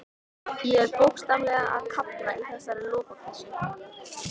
Ég er bókstaflega að kafna í þessari lopapeysu.